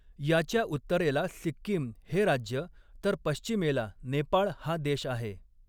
याच्या उत्तरेला सिक्कीम हे राज्य तर पश्चिमेला नेपाळ हा देश आहे.